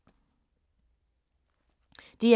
DR2